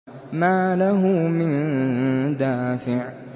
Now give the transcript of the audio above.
مَّا لَهُ مِن دَافِعٍ